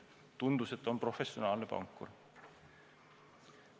Tundus, et on professionaalne pankur.